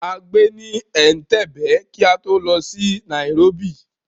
A gbé ní Ẹ̀ǹtebè, kí á tó lọ sí nairóbì.